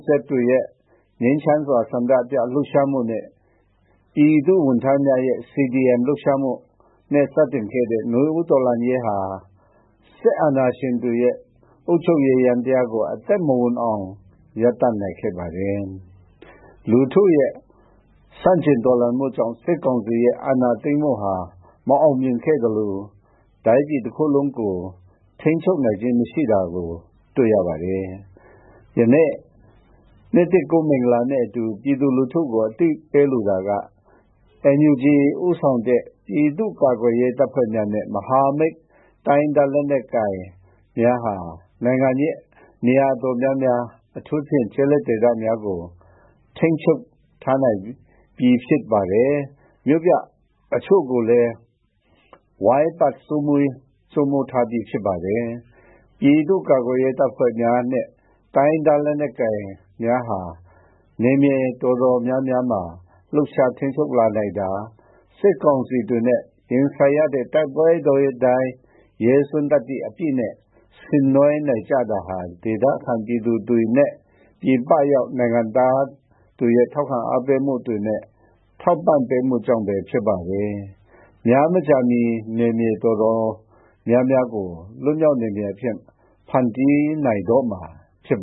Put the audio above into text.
Z တွေရဲ့ ငြိမ်းချမ်းစွာ ဆန္ဒပြလှုပ်ရှားမှုနဲ့ ပြည်သူ့ဝန်ထမ်းများရဲ့ CDM လှုပ်ရှားမှုနဲ့ စတင်ခဲ့တဲ့ နွေဦးတော်လှန်ရေးဟာ စစ်အာဏာရှင်တွေရဲ့ အုပ်ချုပ်ရေးယန္တရားကို အသက်မဝင်အောင် ရပ်တန့်နိုင်ခဲ့ပါတယ်။ လူထုရဲ့ ဆန့်ကျင်တော်လှန်မှုကြောင့် စစ်ကောင်စီရဲ့ အာဏာသိမ်းမှုဟာ မအောင်မြင်ခဲ့သလို တိုင်းပြည်တခုလုံးကို ထိန်းချုပ်နိုင်ခြင်း မရှိတာကို တွေ့ရပါတယ်။ ယနေ့ နှစ်သစ်ကူး မင်္ဂလာနှင့်အတူ ပြည်သူလူထုကို အသိပေးလိုတာကတော့ NUG ဦးဆောင်တဲ့ ပြည်သူ့ကာကွယ်ရေးတပ်ဖွဲ့များနှင့် မဟာမိတ် တိုင်းရင်းသားလက်နက်ကိုင်များဟာ နိုင်ငံရဲ့ နေရာတော်တော်များ ကို ထိန်းချုပ်ထားပြီ ဖြစ်ပြီး မြို့ပြတချို့ကိုလည်း ဝိုင်းပတ် စိုးမိုးထားပြီ ဖြစ်ပါတယ်။ ပြည်သူ့ကာကွယ်ရေးတပ်ဖွဲ့ဝင်များနဲ့ တိုင်းရင်းသားလက်နက်ကိုင်များဟာ နယ်မြေတော်တော်များများမှာ လှုပ်ရှားထိန်းချုပ်လာနိုင်တာ၊ စစ်ကောင်စီတွေနဲ့ ရင်ဆိုင်ရတဲ့ တိုက်ပွဲတိုင်း ရဲစွမ်းသတ္တိအပြည့်နဲ့ ဆင်နွှဲနိုင်ကြတာဟာ ဒေသခံပြည်သူတွေနဲ့ ပြည်ပရောက် နိုင်ငံသားတွေရဲ့ ထောက်ခံအားပေးမှုတွေနဲ့ ထောက်ပံ့ပေးမှုကြောင့်ပဲ ဖြစ်ပါတယ်။ များမကြာမီ နယ်မြေတော်တော်များများကို လွတ်မြောက်နယ်မြေအဖြစ် ဖန်တီးနိုင်တော့မှာ ဖြစ်